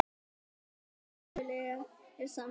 Allt skipulag er samþykkt